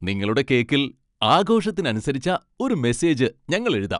നിങ്ങളുടെ കേക്കിൽ ആഘോഷത്തിന് അനുസരിച്ച ഒരു മെസ്സേജ് ഞങ്ങൾ എഴുതാം.